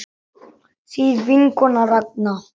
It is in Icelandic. Þín vinkona Ragna.